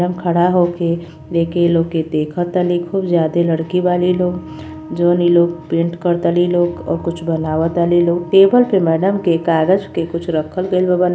madam खड़ा होके एके लोग के देखा तानी खूब ज्यादे लड़की बनी लोग जोन इ लोग पेंट करा तली लोग ओर कुछ बनावताली लोग टेबल पे मैडम के कागज के कुछ खरल गइल बा बना |